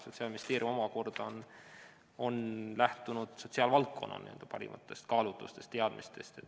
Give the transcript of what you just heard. Sotsiaalministeerium on omakorda lähtunud sotsiaalvaldkonna parimatest kaalutlustest ja teadmistest.